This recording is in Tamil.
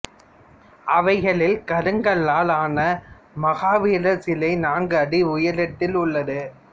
அவைகளில் கருங்கல்லால் ஆன மகாவீரர் சிலை நான்கு அடி உயரத்தில் உள்ளது